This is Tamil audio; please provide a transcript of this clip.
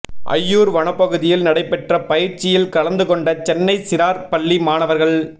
அய்யூா் வனப்பகுதியில் நடைபெற்ற பயிற்சியில் கலந்து கொண்ட சென்னை சிறாா் பள்ளி மாணவா்கள்